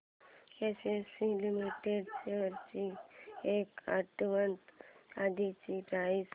ACC limited shares ची एक आठवड्या आधीची प्राइस